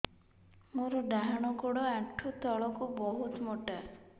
ମୋର ଡାହାଣ ଗୋଡ ଆଣ୍ଠୁ ତଳୁକୁ ବହୁତ ମୋଟା